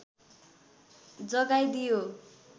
जगाइ दियो